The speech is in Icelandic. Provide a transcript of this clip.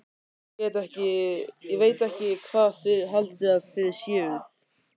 Ég veit ekki hvað þið haldið að þið séuð.